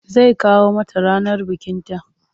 Zai kawo mata ranar bikinta.